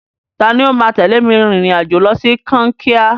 Tani ó máa tẹ̀lé mi rìnrìn-àjò lọ sí Kankia?